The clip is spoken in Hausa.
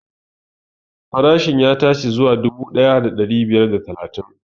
Farashin ya tashi zuwa dubu ɗaya da ɗari biyar da talatin